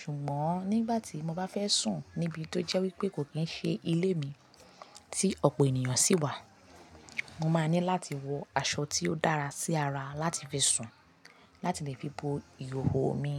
Ṣùgbọ́n nígbà tí mo bá fẹ́ sùn níbi tó jẹ́ wípé kò kí ń ṣe ilé mi tí ọ̀pọ̀ ènìyàn sì wà, mo máa ní láti wọ aṣọ tí ó dára sí ara láti fi sùn láti lè fi bo ìhòhò mi.